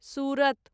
सूरत